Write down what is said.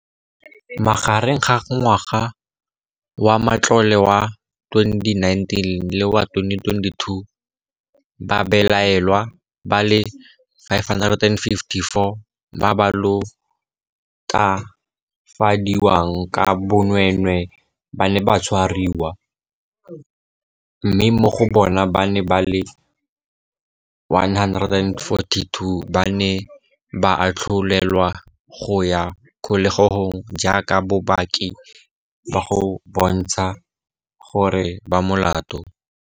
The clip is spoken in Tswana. Magareng ga ngwaga wa matlole wa 2019 le wa 2022, babelaelwa ba le 554 ba ba latofadiwang ka bonweenwee ba ne ba tshwariwa, mme mo go bona ba le 142 ba ne ba atlholelwa go ya kgolegelong jaaka bopaki bo bontsha gore ba molato.